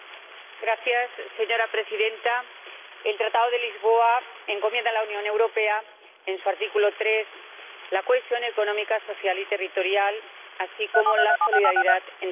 Señora Presidenta, el Tratado de Lisboa encomienda a la Unión Europea, en su artículo 3, la cohesión económica, social y territorial, así como la solidaridad entre los Estados.